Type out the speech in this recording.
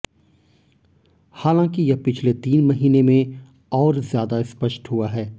हालांकि यह पिछले तीन महीने में और ज्यादा स्पष्ट हुआ है